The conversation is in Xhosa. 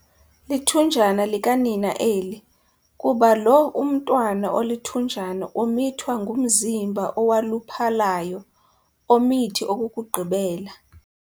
Lithunjana likanina eli, kuba lo umntwana olithunjana umithwa ngumzimba owaluphalayo, omithi okokugqibela.